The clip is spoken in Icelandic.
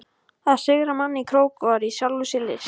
Að sigra mann í krók var í sjálfu sér list.